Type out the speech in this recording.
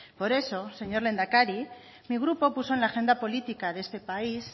por eso señor lehendakari mi grupo puso en la agenda política de este país